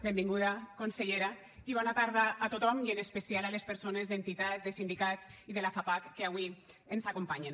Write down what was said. benvinguda consellera i bona tarda a tothom i en especial a les persones d’entitats de sindicats i de la fapac que avui ens acompanyen